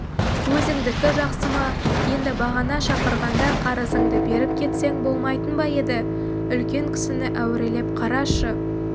өзіңдікі жақсы ма енді бағана шақырғанда қарызыңды беріп кетсең болмайтын ба еді үлкен кісіні әурелеп қарашы